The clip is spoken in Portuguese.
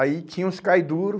Aí tinha os cai duro.